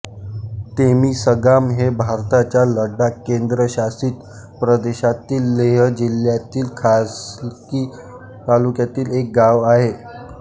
तेमिसगाम हे भारताच्या लडाख केंद्रशासित प्रदेशातील लेह जिल्हातील खालसी तालुक्यातील एक गाव आहे